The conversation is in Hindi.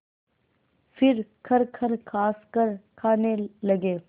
फिर खरखर खाँसकर खाने लगे